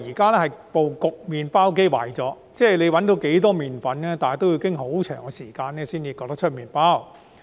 他指出，麵包機壞了，無論找到多少麵粉，也要很長時間後才能焗出麵包。